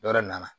Yɔrɔ na